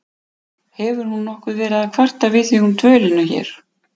Hefur hún nokkuð verið að kvarta við þig um dvölina hér?